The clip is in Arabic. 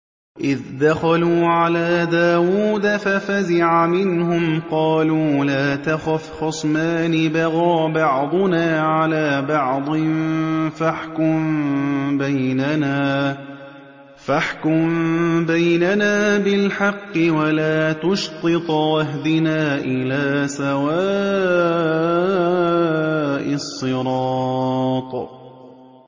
إِذْ دَخَلُوا عَلَىٰ دَاوُودَ فَفَزِعَ مِنْهُمْ ۖ قَالُوا لَا تَخَفْ ۖ خَصْمَانِ بَغَىٰ بَعْضُنَا عَلَىٰ بَعْضٍ فَاحْكُم بَيْنَنَا بِالْحَقِّ وَلَا تُشْطِطْ وَاهْدِنَا إِلَىٰ سَوَاءِ الصِّرَاطِ